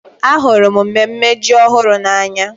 Ahụrụ m mmemme ji ọhụrụ n'anya.